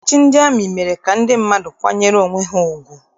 Ọchịchị ndị amị mere ka ndị mmadụ kwanyere onwe ha ugwu.